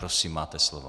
Prosím, máte slovo.